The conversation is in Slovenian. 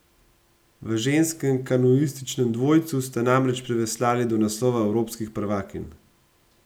V ženskem kanuističnem dvojcu sta namreč priveslali do naslova evropskih prvakinj!